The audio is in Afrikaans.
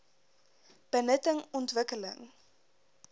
benutting ontwik keling